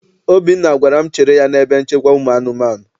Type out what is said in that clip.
Obinna gwara m chere ya n'ebe nchekwa ụmụ anụmanụ.